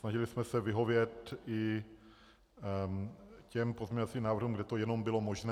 Snažili jsme se vyhovět i těm pozměňovacím návrhům, kde to jenom bylo možné.